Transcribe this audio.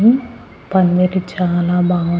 పన్నీరు చాలా బావు--